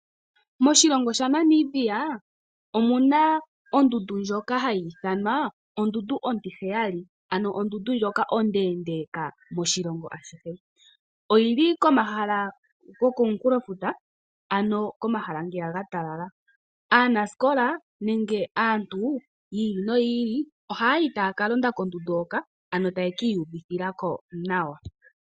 Moshilongo shaNamibia omu na ondundu ndjoka hayi ithanwa ondundu ontiheyali, ano ondundu ndjoka ondeendeka moshilongo ashihe. Oyili komahala gokomunkulofuta, ano komahala ngeya ga talala. Aanasikola nenge aantu yiili no yiili ohaya yi taya londa kondundu hoka, ano taya kiiyuvithila ko nawa.